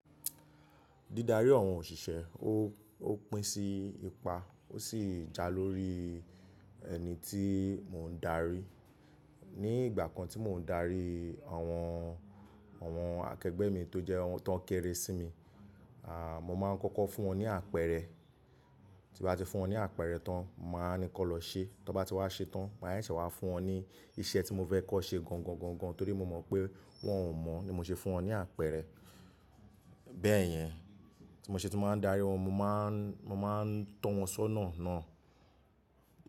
Dídarí àwọn òṣìṣẹ́, ó, ó pín sí ipa ó sì ja lórí ẹni tí mò ń darí. Ni ìgbà kan tí mò ń darí àwọn, àwọn akẹgbẹ́ mi tó jẹ́ àwọn tó ń kere sí mi, à, mo máa ń kọ́kọ́ fún wọn ní àpẹẹrẹ. Tí bá ti fún wọn ní àpẹẹrẹ tán, n màá ní kan lọ ṣe. Tí wọ́n bá ti wá ṣe tán, màá se se wá fún wọn ní iṣẹ́ tí mo fẹ́ kọ́n ṣe gangan-gangan torí mo mọ̀ pé wọ́n ò mọ̀ ní mo ṣe fún wọn ní àpẹẹrẹ. Bẹ́ẹ̀ yẹn, tí mo ṣe tí mò ń darí wọn, mo máa ń, mo máa ń tọ́ wọn sọ́nà náà.